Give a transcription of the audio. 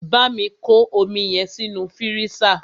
Bámi kọ́ omi yẹn sínú fírísà!